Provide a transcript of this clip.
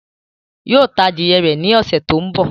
Yóò ta adìyẹ rẹ̀ ní ọ̀ṣẹ̀ tó ń bọ̀